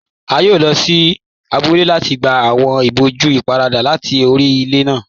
A yóò lọ sí àbúlẹ̀ láti gbà awọn ìbòjú ìpárada láti orí ilẹ̀ náà.